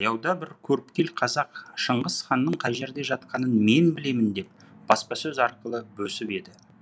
таяуда бір көріпкел қазақ шыңғыс ханның қай жерде жатқанын мен білемін деп баспасөз арқылы бөсіп еді